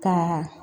Ka